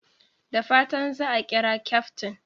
Da fatan za a kira kyaftin!